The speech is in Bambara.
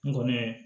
N kɔni ye